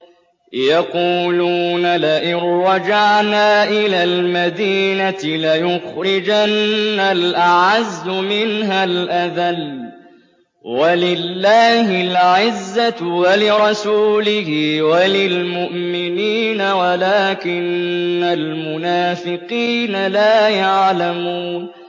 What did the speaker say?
يَقُولُونَ لَئِن رَّجَعْنَا إِلَى الْمَدِينَةِ لَيُخْرِجَنَّ الْأَعَزُّ مِنْهَا الْأَذَلَّ ۚ وَلِلَّهِ الْعِزَّةُ وَلِرَسُولِهِ وَلِلْمُؤْمِنِينَ وَلَٰكِنَّ الْمُنَافِقِينَ لَا يَعْلَمُونَ